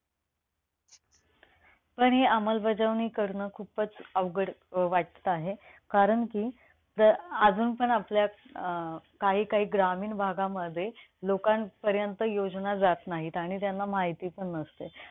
आणि अंमलबाजवणी करणं खूपच अं अवघड वाटतं आहे. कारण कि, जर अजून आपल्यात अं काही काही ग्रामीण भागामध्ये लोकांपर्यंत योजना जात नाहीत आणि त्यांना माहिती पण नसतं.